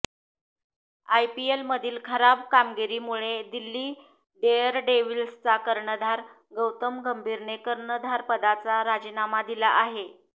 आयपीएलमधील खराब कामगिरीमुळे दिल्ली डेअरडेव्हिल्सचा कर्णधार गौतम गंभीरने कर्णधारपदाचा राजीनामा दिला आहे